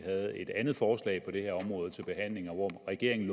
havde et andet forslag på det her område til behandling og hvor regeringen